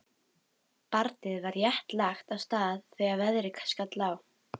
Barnið var rétt lagt af stað þegar veðrið skall á.